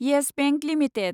yes Bank limited